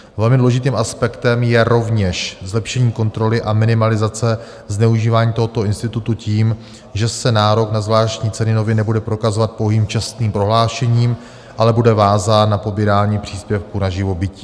Velmi důležitým aspektem je rovněž zlepšení kontroly a minimalizace zneužívání tohoto institutu tím, že se nárok na zvláštní ceny nově nebude prokazovat pouhým čestným prohlášením, ale bude vázán na pobírání příspěvku na živobytí.